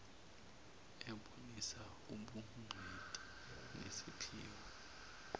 ebonisa ubugcwethi nesiphiwo